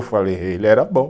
Eu falei, ele era bom.